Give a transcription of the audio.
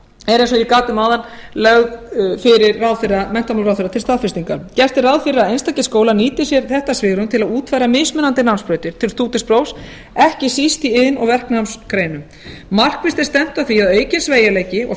er eins og ég gat um áðan lögð fyrir menntamálaráðherra til staðfestingar gert er ráð fyrir að einstakir skólar nýti sér þetta svigrúm til að útfæra mismunandi námsbrautir til stúdentsprófs ekki síst í iðn og verknámsgreinum markvisst er stefnt að því að aukinn sveigjanleiki og